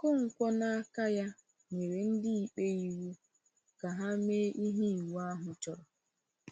Okonkwo n’aka ya, nyere ndị ikpe iwu ka ha mee ihe iwu ahụ chọrọ.